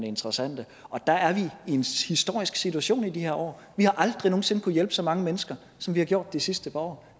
interessante og der er vi i en historisk situation i de her år vi har aldrig nogen sinde kunnet hjælpe så mange mennesker som vi har gjort de sidste par år